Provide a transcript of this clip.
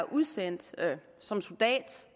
udsendt som soldat